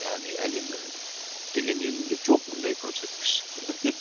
яғни әлемнің көптеген елінде жоқ мұндай көрсеткіш